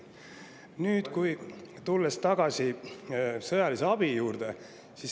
Nüüd tulen tagasi sõjalise abi juurde.